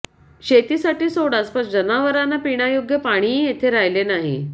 शेतीसाठी सोडाच पण जनावरांना पिण्यायोग्य पाणीही येथे राहिले नाही